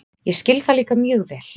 Ég skil það líka mjög vel.